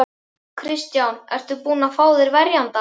Kristján: Ertu búinn að fá þér verjanda?